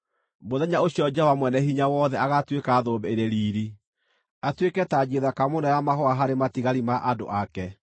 Mũthenya ũcio Jehova Mwene-Hinya-Wothe agaatuĩka thũmbĩ ĩrĩ riiri, atuĩke tanji thaka mũno ya mahũa harĩ matigari ma andũ ake.